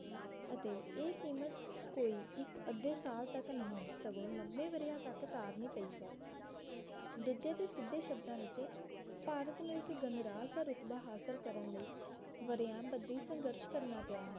ਅਤੇ ਇਹ ਕੀਮਤ ਕੋਈ ਇੱਕ ਅੱਧੇ ਸਾਲ ਤੱਕ ਨਹੀਂ ਸਗੋਂ ਲੰਬੇ ਵਰ੍ਹਿਆਂ ਤੱਕ ਤਾਰਨੀ ਪਈ ਹੈ ਦੂਜੇ ਤੇ ਸਿਧੇ ਸ਼ਬਦਾਂ ਵਿੱਚ ਭਾਰਤ ਨੂੰ ਇਕ ਗਣਰਾਜ ਦਾ ਰੁਤਬਾ ਹਾਸਲ ਕਰਨ ਲਈ ਵਰ੍ਹਿਆਂ ਬੱਧੀ ਸੰਘਰਸ਼ ਕਰਨਾ ਪਿਆ ਹੈ